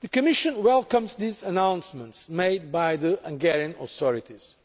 The Commission welcomes these announcements from the Hungarian authorities.